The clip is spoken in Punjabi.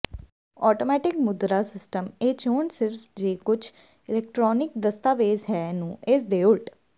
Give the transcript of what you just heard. ਆਟੋਮੈਟਿਕ ਮੁਦਰਾ ਸਿਸਟਮ ਇਹ ਚੋਣ ਸਿਰਫ ਜੇ ਕੁਝ ਇਲੈਕਟ੍ਰਾਨਿਕ ਦਸਤਾਵੇਜ਼ ਹੈ ਨੂੰ ਇਸ ਦੇ ਉਲਟ